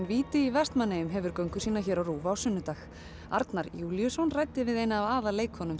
víti í Vestmannaeyjum hefur göngu sína hér á Rúv á sunnudag Arnar Júlíusson ræddi við eina af